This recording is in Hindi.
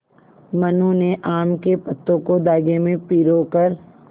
मनु ने आम के पत्तों को धागे में पिरो कर